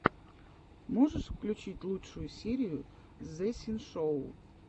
можешь включить лучшую серию зэ синшоу